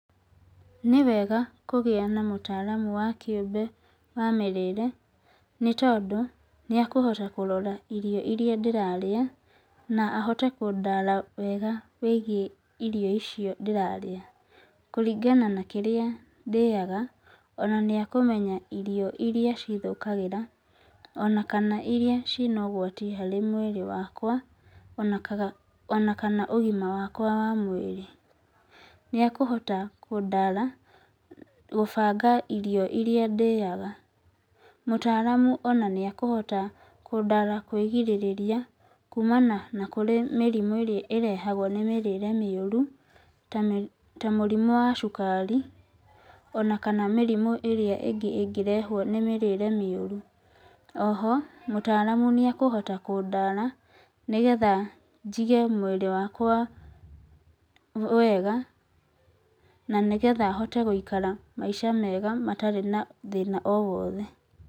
Nĩwega kũgĩa na mũtaaramu wa kĩũmbe wa mĩrĩĩre nĩ tondũ nĩ ekũhota kũrora irio irĩa ndĩrarĩa na ahote kũndara wega wĩgiĩ irio icio ndĩrarĩa. Kũringana na kĩrĩa ndĩaga ona nĩ akũmenya irio irĩa cithũkagĩra ona kana irĩa cina ũgwati harĩ mwĩrĩ wakwa, ona kana ũgima wakwa wa mwĩrĩ. Nĩ ekũhota kũndara gũbanga irio irĩa ndĩaga. Mũtaaramu ona nĩ ekũhota kũndara kwĩgirĩrĩria kuumana na kũrĩ mĩrimũ ĩrĩa ĩrehagwo nĩ mĩrĩĩre mĩũru, ta mũrimũ wa cukari ona kana mĩrimũ ĩrĩa ĩngĩ ĩngĩrehwo nĩ mĩrĩĩre mĩũru. Oho mũtaaramu nĩ ekũhota kũndara nigetha njige mwĩrĩ wakwa wega na nĩgetha hote gũikara maica mega matarĩ na thĩna o wothe.